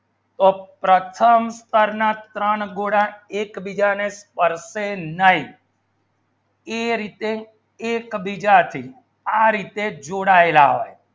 તો પ્રથમ સ્તર ના ત્રણ ગુણ એક બીજા ને કરશે નહિ એ રીતે એક બીજા થી આ રીતે જોડા લાવાય